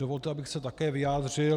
Dovolte, abych se také vyjádřil.